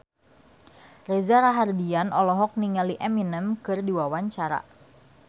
Reza Rahardian olohok ningali Eminem keur diwawancara